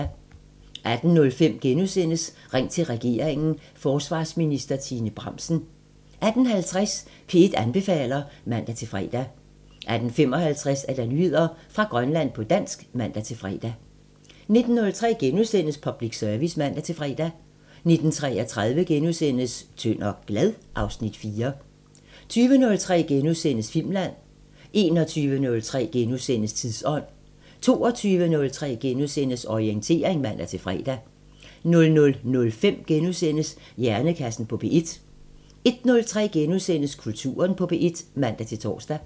18:05: Ring til regeringen: Forsvarsminister Trine Bramsen * 18:50: P1 anbefaler (man-fre) 18:55: Nyheder fra Grønland på dansk (man-fre) 19:03: Public Service *(man-fre) 19:33: Tynd og glad? (Afs. 4)* 20:03: Filmland * 21:03: Tidsånd * 22:03: Orientering *(man-fre) 00:05: Hjernekassen på P1 * 01:03: Kulturen på P1 *(man-tor)